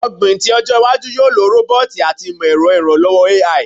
Ogbin ti ojo iwaju yoo lo roboti ati imọ-ẹrọ iranlọwọ AI